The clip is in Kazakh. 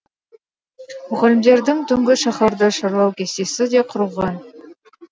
мұғалімдердің түнгі шаһарды шарлау кестесі де құрылған